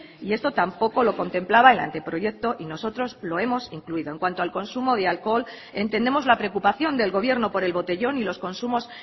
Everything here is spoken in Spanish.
y esto tampoco lo contemplaba el anteproyecto y nosotros lo hemos incluido en cuanto al consumo de alcohol entendemos la preocupación del gobierno por el botellón y los consumos